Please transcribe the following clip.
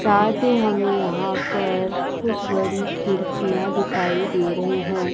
चाहते हमे यहां पर कुछ बड़ी खिड़कियां दिखाई दे रही हैं।